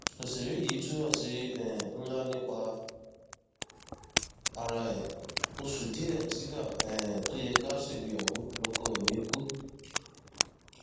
ọsẹrẹ yìí tú àṣírí um ńlá nípa ara ẹ oṣù díẹ sígbà um tó yẹ ká ṣègbéyàwó lọkọ mi kù